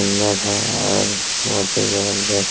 सुंदर है और बहुत ही जबरदस्त--